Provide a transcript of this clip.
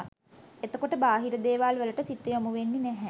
එතකොට බාහිර දේවල් වලට සිත යොමුවෙන්නෙ නැහැ